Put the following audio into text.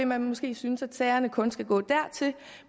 man måske synes at sagerne kun skal gå dertil